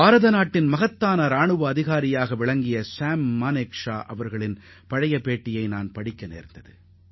நமது மதிப்பிற்குரிய ராணுவ அதிகாரி ஷாம் மானெக்ஷாவின் பழைய பேட்டி ஒன்றை நான் படித்தேன்